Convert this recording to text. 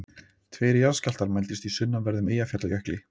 Tveir jarðskjálftar mældust í sunnanverðum Eyjafjallajökli